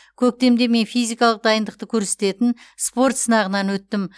көктемде мен физикалық дайындықты көрсететін спорт сынағынан өттім